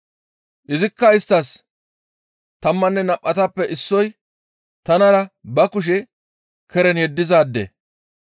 Izikka isttas, «Tammanne nam7atappe issoy tanara ba kushe keren yeddizaade.